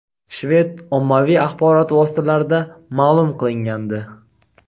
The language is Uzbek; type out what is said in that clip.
shved ommaviy axborot vositalarida ma’lum qilingandi.